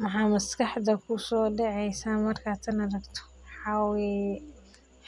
Maxaa weye